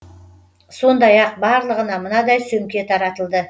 сондай ақ барлығына мынадай сөмке таратылды